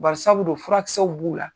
Bari sabu dun furakisɛw b'u la.